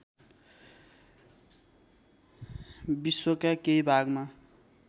विश्वका केही भागमा